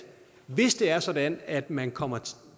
hvis det er sådan at man kommer